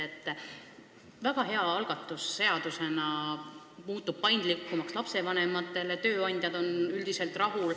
See on seaduseelnõuna väga hea algatus: kord muutub lapsevanematele paindlikumaks ja ka tööandjad on üldiselt rahul.